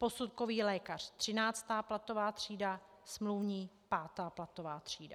Posudkový lékař 13. platová třída, smluvní 5. platová třída.